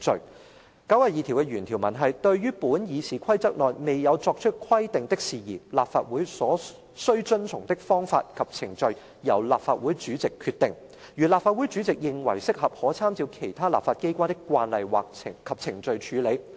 第92條的原條文是"對於本議事規則內未有作出規定的事宜，立法會所須遵循的方式及程序由立法會主席決定；如立法會主席認為適合，可參照其他立法機關的慣例及程序處理。